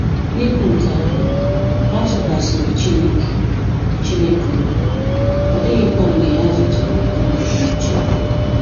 N'ikwu nke ahụ, ha tụkwasịrị Chineke Chineke obi, ọ dịghịkwa mgbe ha zutere ọnọdụ nchegbu.